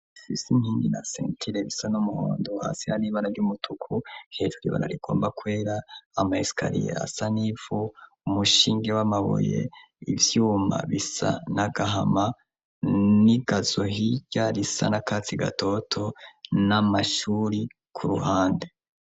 Sisi inkingi na sentile bisa n'muhondu hasi haribara ry'umutuku hejuro ibara rigomba kwera amayisikariyea sa n'ivu umushinge w'amaboye ivyuma bisa na gahama n'igazohirya risa na katsi gatoto n'amashuri ku ruhande.